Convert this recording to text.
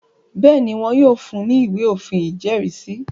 Bẹ́ẹ̀ni, wọn yóò fun ní “ ìwé òfin ìjẹ́rìísí.